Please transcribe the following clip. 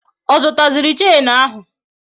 Ọ zụta ziri Chenu ahụ?